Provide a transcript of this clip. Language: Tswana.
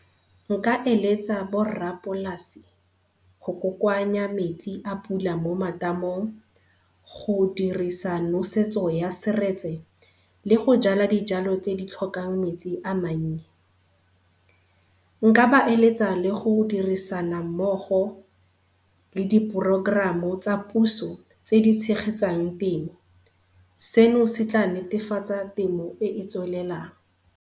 Nka eletsa borrapolasi go kokoanya metsi a pula mo matamong, go dirisa nosetso ya seretse le go jala dijalo tse di tlhokang metsi a mannye. Nka ba eletsa le godirisana mmogo le di porokoramo tsa puso tse di tshegetsang temo, seno se tla netefatsa temo e e tswelelang.